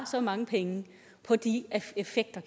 så mange penge på de effekter